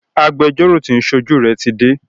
Agbẹjọ́rọ́ tí o ń ṣojú rẹ tí dé.